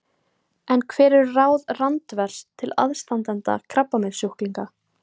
En hver eru ráð Randvers til aðstandanda krabbameinssjúklinga?